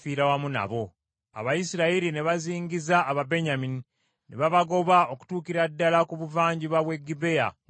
Abayisirayiri ne bazingiza Ababenyamini, ne babagoba okutuukira ddala ku buvanjuba bw’e Gibea we butandikira.